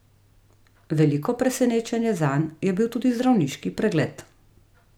Veliko presenečenje zanj je bil tudi zdravniški pregled.